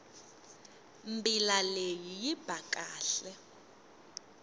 mbila leyi yi ba kahle